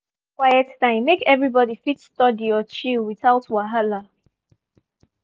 we don set quiet time make everybody fit study or chill without wahala.